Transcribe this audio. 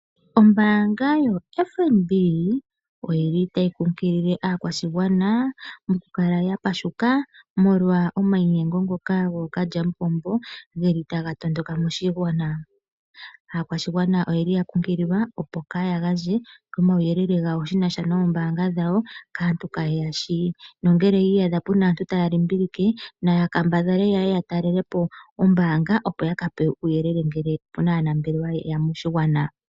Ombaanga yoFNB oyili tayi kunkilile aakwashigwana oku kala ya pashuka molwa omainyengo ngoka gookalya mupombo geli taga tondoka moshigwana. Aakwashigwana oyeli ya kunkililwa, opo kaaya gandje omauyelele genasha noombanga dhawo kaantu kaaye ya shi, nongele yi iyadha puna aantu taya limbilike naya kambadhala ya talele po ombaanga opo ya ka pewe uuyelele ngele opuna aanambelewa ye ya moshigwana.